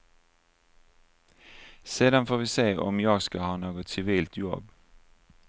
Sedan får vi se om jag ska ha något civilt jobb.